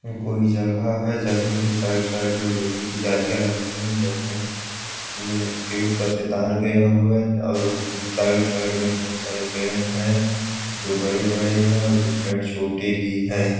कोई जगह है। जगह की साइड साइड में लोहे की जालियाँ लगी हुई हैं। जगह में के ऊपर से तार गया हुआ है और साइड साइड में बोहत सारे पेड हैं जो बड़े-बड़े हैं और कुछ पेड छोटे भी हैं।